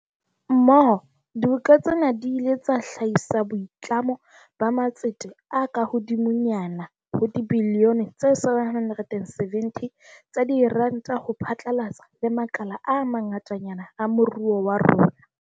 Mmoho, diboka tsena di ile tsa hlahisa boitlamo ba matsete a kahodimonyana ho dibilione tse 770 tsa diranta ho phatlalla le makala a ma ngatanyana a moruo wa rona.